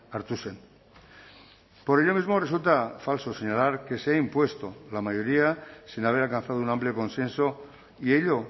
hartu zen por ello mismo resulta falso señalar que se ha impuesto la mayoría sin haber alcanzado un amplio consenso y ello